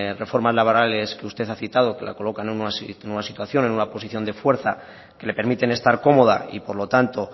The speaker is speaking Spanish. reformas laborales que usted ha citado que la colocan en una situación en una posición de forma que le permiten estar cómoda y por lo tanto